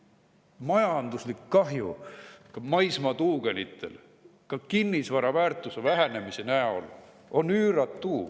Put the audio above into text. Majanduslik kahju maismaatuugenite puhul, mis tekib kinnisvara väärtuse vähenemise tõttu, on üüratu.